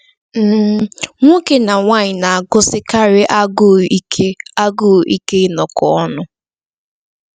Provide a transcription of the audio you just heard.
um Nwoke na nwanyị na-agụsikarị agụụ ike agụụ ike ịnọkọ ọnụ.